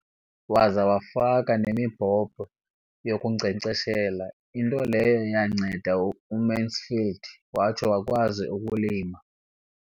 Waza wafaka nemibhobho yokunkcenkceshela, into leyo yanceda uMansfield watsho wakwazi ukulima.